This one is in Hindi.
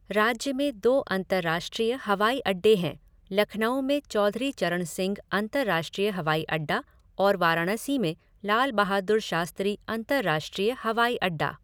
राज्य में दो अंतर्राष्ट्रीय हवाई अड्डे हैं लखनऊ में चौधरी चरण सिंह अंतर्राष्ट्रीय हवाई अड्डा और वाराणसी में लाल बहादुर शास्त्री अंतर्राष्ट्रीय हवाई अड्डा।